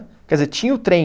Quer dizer, tinha o trem,